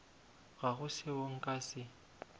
ga go seo nka se